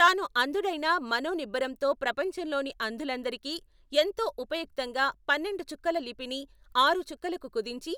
తాను అంధుడైనా మనో నిబ్బరంతో ప్రపంచంలోని అంధులందరికీ ఎంతో ఉపయుక్తంగా పన్నెండు చుక్కల లిపిని ఆరు చుక్కలకు కుదించి